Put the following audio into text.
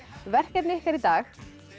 verkefni ykkar í dag